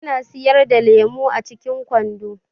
Ana siyar da lemu a cikin kwando.